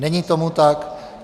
Není tomu tak.